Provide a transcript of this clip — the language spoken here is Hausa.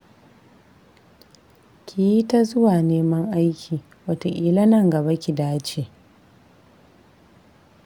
Ki yi ta zuwa neman aiki wataƙila nan gaba ki dace